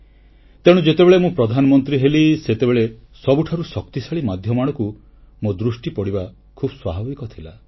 ତେଣୁ ଯେତେବେଳେ ମୁଁ ପ୍ରଧାନମନ୍ତ୍ରୀ ହେଲି ସେତେବେଳେ ସବୁଠାରୁ ଶକ୍ତିଶାଳୀ ମାଧ୍ୟମ ଆଡ଼କୁ ମୋ ଦୃଷ୍ଟି ପଡ଼ିବା ଖୁବ ସ୍ୱାଭାବିକ ଥିଲା